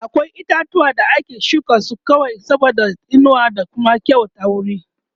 akwai itatuwa da ake shuka su kawai saboda inuwa da Kuma ƙawata wuri